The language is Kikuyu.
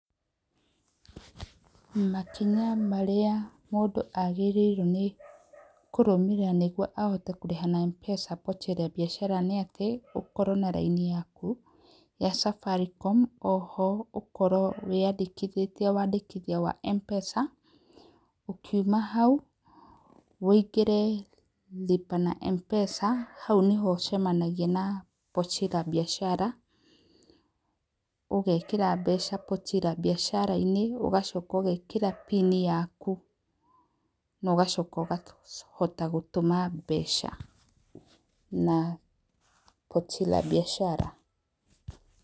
Makinya marĩa mũndũ agĩrĩirwo nĩ kũrũmĩrĩra nĩguoa ahote kurĩha na Mpesa Pochi La Biashara, nĩ atĩ ũkorwo na raini yaku wa Safaricom oho ũkorwo wĩyandĩkithĩtie, wandĩkithia wa Mpesa, ũkiuma hau wũingĩre Lipa na Mpesa hau nĩho ũcemanagaia na Pochi La Biashara, ũgekĩra mbeca Pochi La Biashara inĩ ũgacoka ũgekĩta pini yaku na ũgacoka ũkahota gũtũma mbeca na Pochi La Biashar